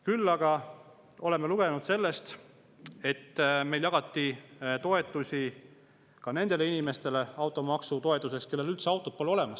Küll aga oleme lugenud sellest, et meil jagati automaksutoetust ka nendele inimestele, kellel üldse autot polegi.